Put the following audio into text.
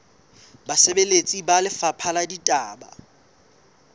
basebeletsi ba lefapha la ditaba